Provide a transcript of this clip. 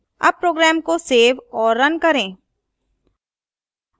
अब program को save और now करें